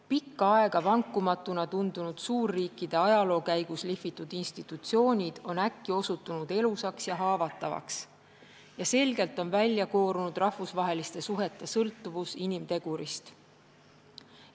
Pikka aega vankumatuna tundunud suurriikide ajaloo käigus lihvitud institutsioonid on äkki osutunud elusaks ja haavatavaks ning selgelt on välja koorunud rahvusvaheliste suhete sõltuvus inimtegurist.